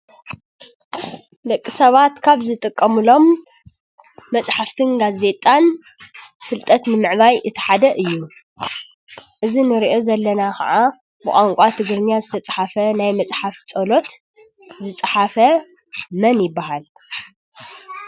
ደቂ ሰባት ካብ ዝጥቀምሎም መፅሓፈትን ጋዜጣን ፍልጠት ንምዕባይ እቲ ሓደ እዩ። እዚ እንርእዮ ዘለና ከዓ ብቋንቋ ትግርኛ ዝተፃሓፈ ናይ መፅሓፍ ፀሎት ዝፀሓፈ መን ይባሃል?